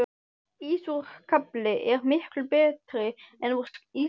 Ís úr skafli er miklu betri en úr ísskáp